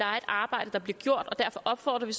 arbejde bliver gjort og derfor opfordrer vi